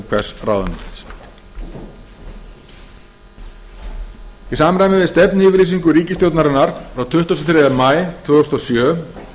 hvers ráðuneytis í samræmi við stefnuyfirlýsingu ríkisstjórnarinnar frá tuttugasta og þriðja maí tvö þúsund og sjö